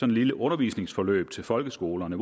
lille undervisningsforløb til folkeskolerne